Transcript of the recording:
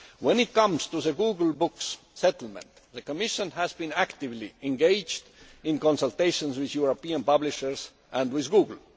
When it comes to the Google Books settlement, the Commission has been actively engaged in consultations with European publishers and with Google.